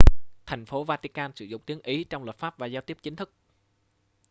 thành phố vatican sử dụng tiếng ý trong luật pháp và giao tiếp chính thức